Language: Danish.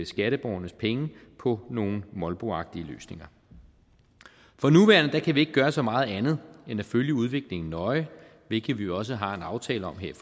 skatteborgernes penge på nogle molboagtige løsninger for nuværende kan vi ikke gøre så meget andet end at følge udviklingen nøje hvilket vi jo også har en aftale om her